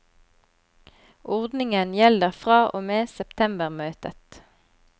Ordningen gjelder fra og med septembermøtet.